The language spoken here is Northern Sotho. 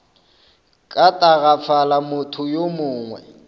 ka tagafala motho yo mongwe